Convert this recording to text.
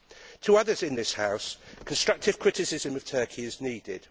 To others in this House, constructive criticism of Turkey is needed